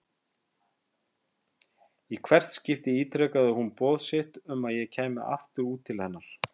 Í hvert skipti ítrekaði hún boð sitt um að ég kæmi aftur út til hennar.